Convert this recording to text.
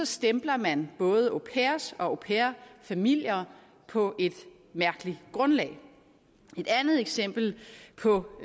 stempler man både og au pair familier på et mærkeligt grundlag et andet eksempel på